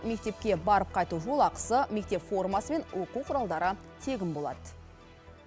мектепке барып қайту жолақысы мектеп формасы мен оқу құралдары тегін болады